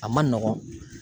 A man nɔgɔn.